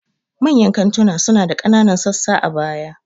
Manyan kantunan suna da ƙananan sassa a baya.